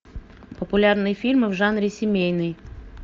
популярные фильмы в жанре семейный